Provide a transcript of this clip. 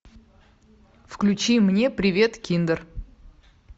включи мне привет киндер